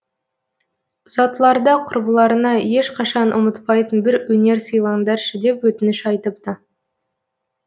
ұзатыларда құрбыларына ешқашан ұмытпайтын бір өнер сыйлаңдаршы деп өтініш айтыпты